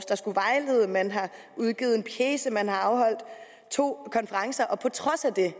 der skulle vejlede man har udgivet en pjece man har afholdt to konferencer og på trods af det